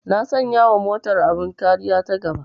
Na sanya wa motar abin kariya ta gaba